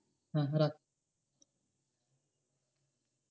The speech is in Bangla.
হ্যাঁ রাখ